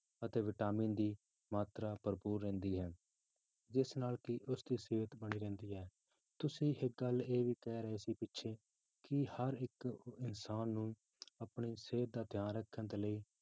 ਅਤੇ vitamin ਦੀ ਮਾਤਰਾ ਭਰਪੂਰ ਰਹਿੰਦੀ ਹੈ, ਜਿਸ ਨਾਲ ਕਿ ਉਸਦੀ ਸਿਹਤ ਬਣੀ ਰਹਿੰਦੀ ਹੈ, ਤੁਸੀਂ ਇੱਕ ਗੱਲ ਇਹ ਵੀ ਕਹਿ ਰਹੇ ਸੀ ਪਿੱਛੇ ਕਿ ਹਰ ਇੱਕ ਇਨਸਾਨ ਨੂੰ ਆਪਣੀ ਸਿਹਤ ਦਾ ਧਿਆਨ ਰੱਖਣ ਦੇ ਲਈ